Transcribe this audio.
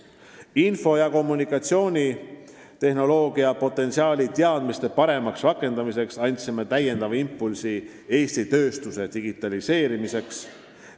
Info- ja kommunikatsioonitehnoloogia potentsiaali paremaks rakendamiseks andsime täiendava impulsi Eesti tööstuse digitaliseerimiseks.